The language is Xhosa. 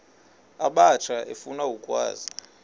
abatsha efuna ukwazi